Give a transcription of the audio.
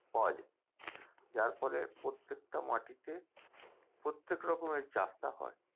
পাওয়া যায় যার ফলে প্রত্যেকটা মাটিতে প্রত্যেক রকমের চাষটা হয়